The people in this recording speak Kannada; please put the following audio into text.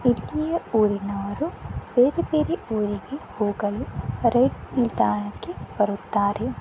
ಮತ್ತು ಇಲ್ಲಿಯ ಊರಿನವರು ಬೇರೆ ಬೇರೆ ಊರಿಗೆ ಹೋಗಲು ರೈಲ್ ನಿಲ್ದಾಣಕ್ಕೆ ಬರುತ್ತಾರೆ.